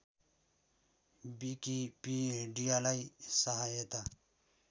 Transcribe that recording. विकिपीडियालाई सहायता